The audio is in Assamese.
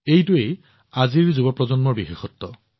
এয়াই আজিৰ যুৱ প্ৰজন্মৰ পৰিচয়